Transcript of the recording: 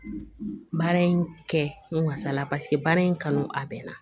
Baara in kɛ n wasala paseke baara in kanu a bɛ na